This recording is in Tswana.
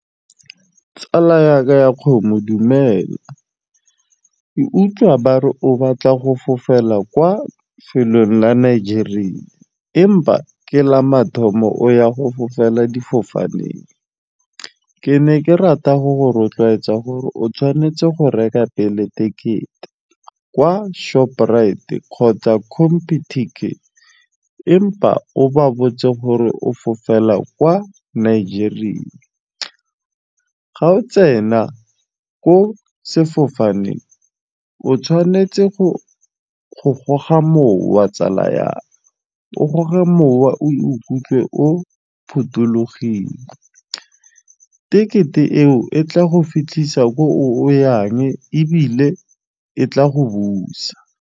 Tsala ya ka ya kgomo dumela, ke utlwa ba re o batla go fofela kwa felong la Nigeria empa ke la mathomo o ya go fofela difofaneng. Ke ne ke rata go go rotloetsa gore o tshwanetse go reka pele tekete kwa shoprite kgotsa compu-ticket empa o ba botse gore o fofela kwa Nigeria ga o tsena ko sefofaneng, o tshwanetse go goga mowa tsala ya me, o goge mowa o ikutlwe o phothulogile. Tekete eo e tla go fitlhisa ko o yang ebile e tla go busa.